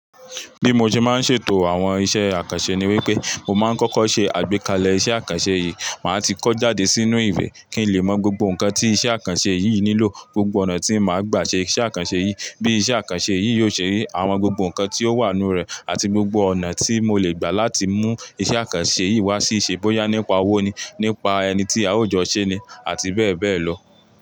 Bí mo ṣe máa ń ṣètò àwọn iṣẹ́ àkànṣe ni wípé mo máa ń kọ́kọ́ ṣe àgbékalẹ̀ iṣẹ́ àkànṣe yìí, màá ti kọ́ jáde sínú ìwé kí n lè mọ gbogbo nǹkan tí iṣẹ́ àkànṣe yìí nílò, gbogbo ọ̀nà tí màá gbà ṣe iṣẹ́ àkànṣe yìí, bí iṣẹ́ àkànṣe yìí yóò ṣe rí, àwọn gbogbo nǹkan tí ó wà nínú rẹ̀ àti gbogbo ọ̀nà tí mo lè gbà láti mú iṣẹ́ àkànṣe yìí wá sí síṣe bóyá nípa owó ni, nípa ẹni tí a ò jọ ṣé ni àti bẹ́ẹ̀ bẹ́ẹ̀ lọ.